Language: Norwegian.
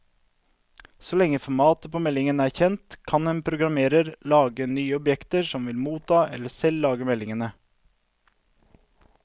Så lenge formatet på meldingen er kjent, kan en programmerer lage nye objekter som vil motta eller selv lage meldingene.